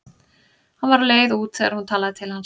Hann var á leið út þegar hún talaði til hans.